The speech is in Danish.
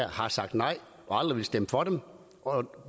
har sagt nej og aldrig ville stemme for dem